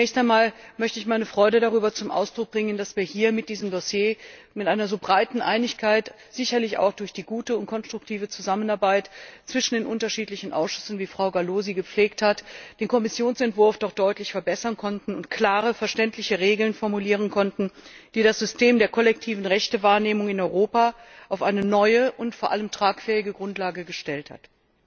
Zunächst einmal möchte ich meine Freude darüber zum Ausdruck bringen, dass wir hier mit diesem Dossier mit einer so breiten Einigkeit sicherlich auch durch die gute und konstruktive Zusammenarbeit zwischen den unterschiedlichen Ausschüssen, wie Frau Gallo sie gepflegt hat den Kommissionsentwurf doch deutlich verbessern konnten und klare, verständliche Regeln formulieren konnten, die das System der kollektiven Rechtewahrnehmung in Europa auf eine neue und vor allem tragfähige Grundlage gestellt haben.